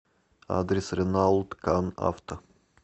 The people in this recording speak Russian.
адрес ренаулт кан авто